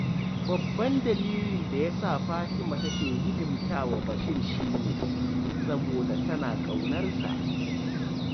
Babban dalilin da ya sa Fatima take hidimta wa Bashir shi ne, saboda tana ƙaunarsa